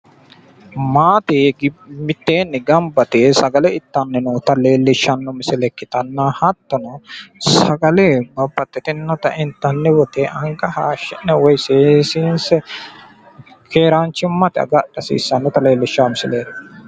maate mitteenni ganba yite ittanni noota leellishshanno misile ikkitanna hattono sagale babbaxxinota intanni woyiite anga hayiishshi'ne seessinse keeraanchimmate agadha hasiissannota leellishshanno misileeti.